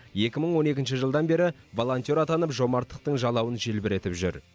екі мың он екінші жылдан бері волонтер атанып жомарттықтың жалауын желбіретіп жүр